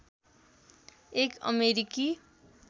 एक अमेरिकी